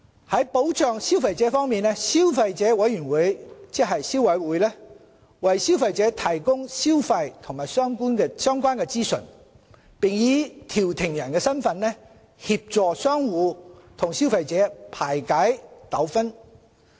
在保障消費者方面，消費者委員會為消費者提供消費及相關資訊，並以調停人的身份，協助商戶及消費者排解糾紛。